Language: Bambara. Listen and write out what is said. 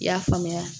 I y'a faamuya